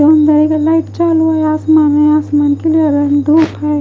कमरे का लाइट चालू है आसमान है क्लियर है धूप है।